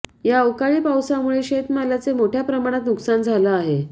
या अवकाळी पावसामुळे शेतमालाचे मोठ्या प्रमाणात नुकसान झालं आहे